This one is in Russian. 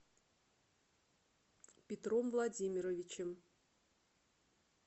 петром владимировичем